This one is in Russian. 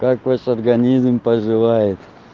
как ваш организм поживает